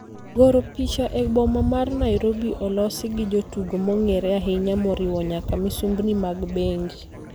Goro picha e boma mar Nairobi olosi gi jotugo mong'ere ahinya moriwo nyaka misumbni mag bengi.